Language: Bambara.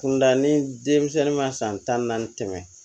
Kunda ni denmisɛnnin ma san tan ni naani tɛmɛ